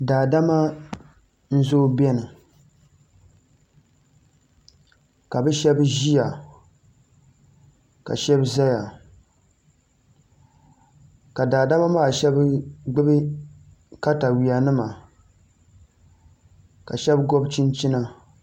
Daadama n zooi biɛni ka bi shab ʒiya ka shab ʒɛya ka daadama maa shab gbubi katawiya nima ka shab gobi chinchina